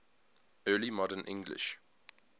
early modern english